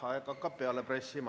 Aeg hakkab peale pressima.